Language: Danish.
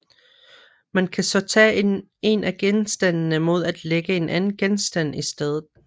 Man kan så tage en af genstandene mod at lægge en anden genstand i stedet